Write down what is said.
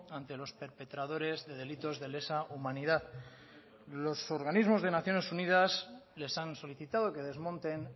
ante los perpetradores de delitos de lesa humanidad los organismos de naciones unidas les han solicitado que desmonten